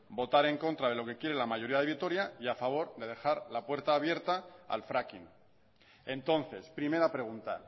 votar en contra de lo que quiere la mayoría de vitoria y a favor de dejar la puerta abierta al fracking entonces primera pregunta